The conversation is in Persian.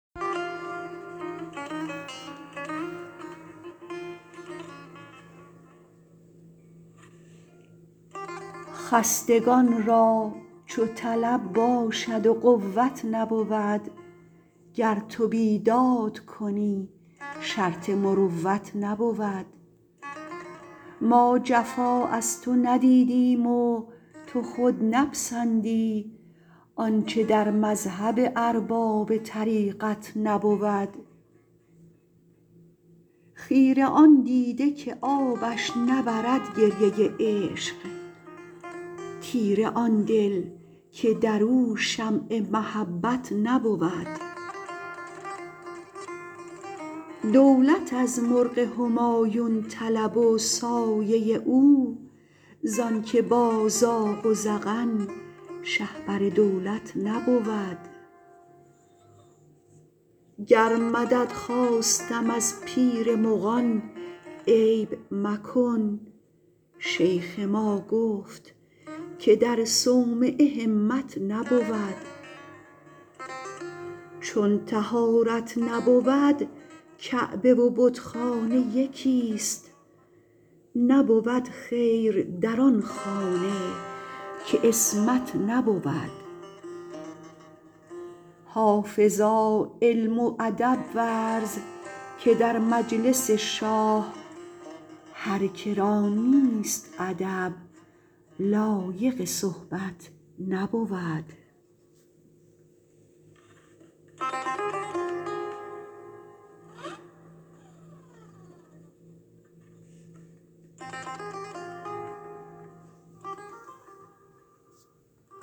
خستگان را چو طلب باشد و قوت نبود گر تو بیداد کنی شرط مروت نبود ما جفا از تو ندیدیم و تو خود نپسندی آنچه در مذهب ارباب طریقت نبود خیره آن دیده که آبش نبرد گریه عشق تیره آن دل که در او شمع محبت نبود دولت از مرغ همایون طلب و سایه او زان که با زاغ و زغن شهپر دولت نبود گر مدد خواستم از پیر مغان عیب مکن شیخ ما گفت که در صومعه همت نبود چون طهارت نبود کعبه و بتخانه یکیست نبود خیر در آن خانه که عصمت نبود حافظا علم و ادب ورز که در مجلس شاه هر که را نیست ادب لایق صحبت نبود